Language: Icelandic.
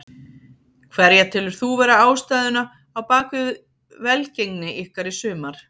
Hverja telur þú vera ástæðuna á bakvið velgengni ykkar í sumar?